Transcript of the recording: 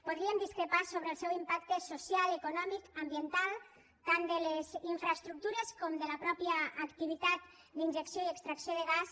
podríem discrepar sobre el seu impacte social econòmic ambiental tant de les infraestructures com de la mateixa activitat d’injecció i extrac ció de gas